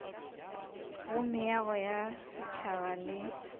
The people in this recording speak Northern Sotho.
go meago ya setšhaba le